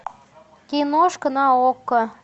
киношка на окко